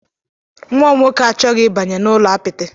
Nwa m nwoke achọghị ịbanye n'ụlọ apịtị.